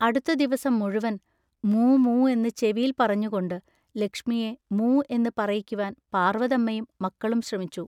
അടുത്ത ദിവസം മുഴുവൻ മൂ മൂ എന്ന് ചെവിയിൽ പറഞ്ഞുകൊണ്ട് ലക്ഷ്മിയെ മൂ എന്ന് പറയിക്കുവാൻ പാർവതമ്മയും മക്കളും ശ്രമിച്ചു.